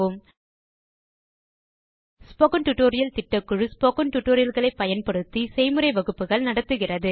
spoken tutorial களை பயன்படுத்தி spoken tutorial திட்டக்குழு செய்முறை வகுப்புகள் நடத்துகிறது